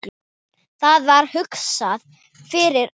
Það var hugsað fyrir öllu.